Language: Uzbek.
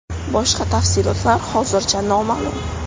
Boshqa tafsilotlar hozircha noma’lum.